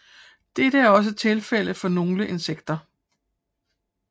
Dette er også tilfældet for nogle insekter